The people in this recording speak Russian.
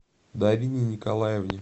дарине николаевне